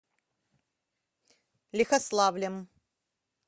лихославлем